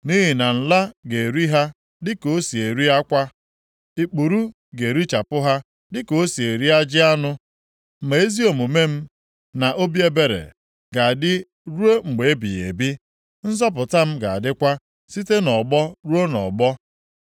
Nʼihi na nla ga-eri ha dịka o si eri akwa. Ikpuru ga-erichapụ ha dịka o si eri ajị anụ. Ma ezi omume m, na obi ebere, ga-adị ruo mgbe ebighị ebi. Nzọpụta m ga-adịkwa site nʼọgbọ ruo nʼọgbọ.